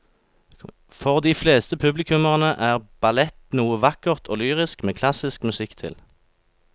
For de fleste publikummere er ballett noe vakkert og lyrisk med klassisk musikk til.